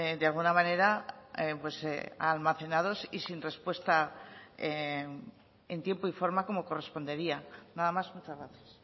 de alguna manera almacenados y sin respuesta en tiempo y forma como correspondería nada más muchas gracias